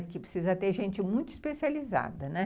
Porque precisa ter gente muito especializada, né.